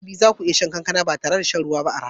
A dabi'a za ku iya shan kankana ba tare da shan ruwa a rana ba.